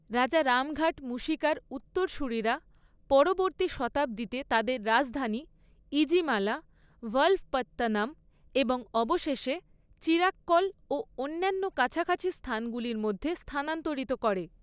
রাজা রামঘাট মুশিকার উত্তরসূরিরা পরবর্তী শতাব্দীতে তাদের রাজধানী ইজিমালা, ভালভপত্তনম এবং অবশেষে চিরাক্কল ও অন্যান্য কাছাকাছি স্থানগুলির মধ্যে স্থানান্তরিত করে।